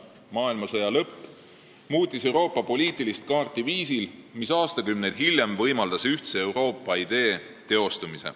Maailmasõja lõpp muutis Euroopa poliitilist kaarti viisil, mis võimaldas aastakümneid hiljem teostuda ühtse Euroopa ideel.